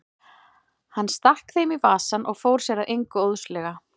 Hann stakk þeim í vasann og fór sér að engu óðslega.